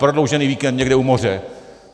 Prodloužený víkend někde u moře.